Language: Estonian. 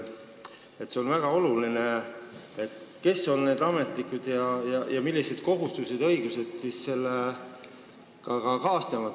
See on väga oluline, kes on need ametnikud ning millised kohustused ja õigused selle tegevusega kaasnevad.